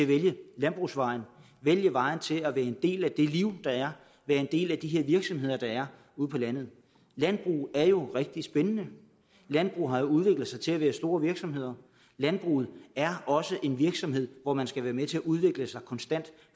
at vælge landbrugsvejen vælge vejen til at være en del af det liv der er være en del af de her virksomheder der er ude på landet landbrug er jo rigtig spændende landbrug har jo udviklet sig til at være store virksomheder landbruget er også en virksomhed hvor man skal være med til at udvikle sig konstant